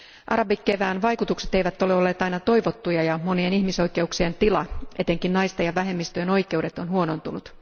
Arabikevään vaikutukset eivät ole olleet aina toivottuja ja monien ihmisoikeuksien tila, etenkin naisten ja vähemmistöjen oikeudet, ovat huonontuneet.